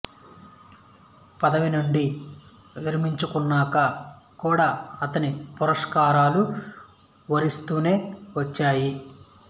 పదవి నుండి విరమించుకున్నాక కూడా అతణ్ణి పురస్కారాలు వరిస్తూనే వచ్చాయి